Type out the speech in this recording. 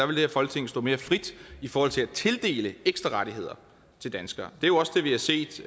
det her folketing stå mere frit i forhold til at tildele ekstra rettigheder til danskere det er jo også det vi har set